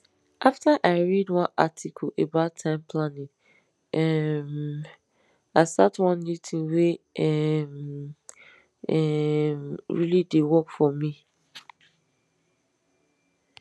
after i read one article about time planning um i start one new tin wey um um really dey work for me